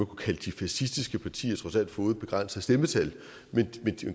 kalde de fascistiske partier trods alt fået et begrænset stemmetal men